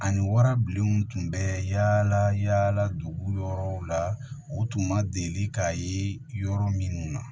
Ani warabilenw tun bɛ yala yala dugu yɔrɔw la u tun ma deli k'a ye yɔrɔ minnu na